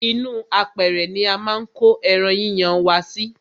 ínú apẹrẹ ni a máa ń ko ẹran yíyan wa sí.